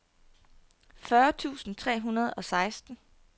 fyrre tusind tre hundrede og seksten